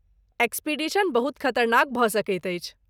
Expedition बहुत खतरनाक भऽ सकैत अछि।